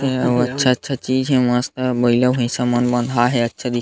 ए अउ अच्छा-अच्छा चीज़ हे. मस्त बइला भइसा मन बंधा हे अच्छा दिखत हे।